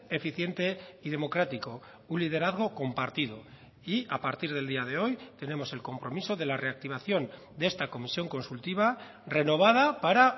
eficiente y democrático un liderazgo compartido y a partir del día de hoy tenemos el compromiso de la reactivación de esta comisión consultiva renovada para